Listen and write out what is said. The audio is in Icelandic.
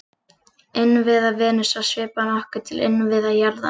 Innviða Venusar svipar nokkuð til innviða jarðar.